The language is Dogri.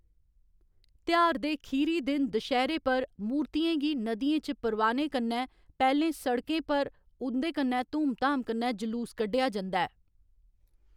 तेहार दे खीरी दिन दशह्‌रे पर, मूर्तियें गी नदियें च परवाह्‌ने कन्नै पैह्‌लें सड़कें पर उं'कन्नै धूम धाम कन्नै जुलूस कड्ढेआ जंदा ऐ।